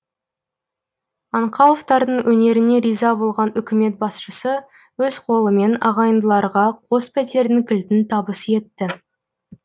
аңқауовтардың өнеріне риза болған үкімет басшысы өз қолымен ағайындыларға қос пәтердің кілтін табыс етті